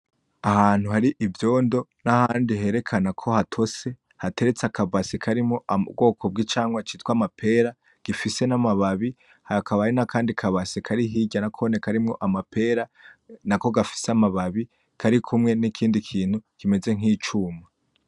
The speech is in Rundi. Ahantu hari ivyondo n'ahandi herekanako hatotse gateretse akabase karimwo ubwoko bw'icamwa citwa amapera gifise n'amababi hakaba hari n'akandi kabase karihirya nakone karimwo amapera nako gafise amababi karikumwe n'ikindi kintu kimeze nk'icuma.